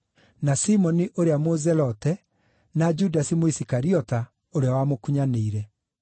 na Simoni ũrĩa Mũzelote, na Judasi Mũisikariota, ũrĩa wamũkunyanĩire.